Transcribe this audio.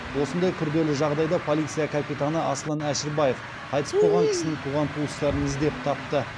осындай күрделі жағдайда полиция капитаны асылан әшірбаев қайтыс болған кісінің туған туыстарын іздеп тапты